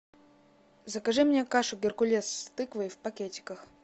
закажи мне кашу геркулес с тыквой в пакетиках